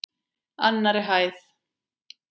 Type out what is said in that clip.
Annarri hæð.